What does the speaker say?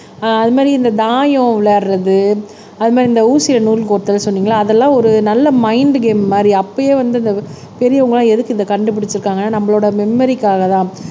அது மாதிரி இந்த தாயம் விளையாடுறது அது மாதிரி இந்த ஊசியை நூலுக்கு கோத்தல் சொன்னீங்கல்ல அதெல்லாம் ஒரு நல்ல மைன்ட் கேம் மாதிரி அப்பயே வந்து இந்த பெரியவங்க எல்லாம் எதுக்கு இத கண்டுபிடிச்சிருக்காங்க நம்மளோட மெமரிக்காகதான்.